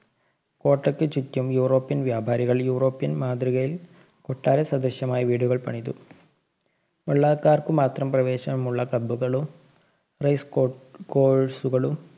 കോട്ടയ്ക്ക് ചുറ്റും യുറോപ്യന്‍ വ്യാപാരികള്‍ യുറോപ്യന്‍ മാതൃകയില്‍ കൊട്ടാര സദൃശ്ശമായ വീടുകള്‍ പണിതു. വെള്ളാക്കാര്‍ക്കു മാത്രം പ്രവേശനമുള്ള pubprice കൊ course കളും